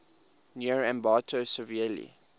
near ambato severely